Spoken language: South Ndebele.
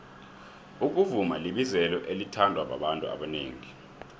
ukuvuma libizelo elithandwa babantu abanengi